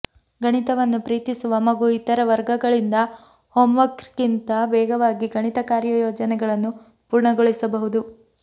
ಗಣಿತವನ್ನು ಪ್ರೀತಿಸುವ ಮಗು ಇತರ ವರ್ಗಗಳಿಂದ ಹೋಮ್ವರ್ಕ್ಗಿಂತ ವೇಗವಾಗಿ ಗಣಿತ ಕಾರ್ಯಯೋಜನೆಗಳನ್ನು ಪೂರ್ಣಗೊಳಿಸಬಹುದು